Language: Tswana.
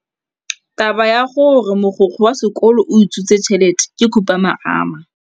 Taba ya gore mogokgo wa sekolo o utswitse tšhelete ke khupamarama.